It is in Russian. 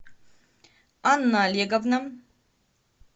анна олеговна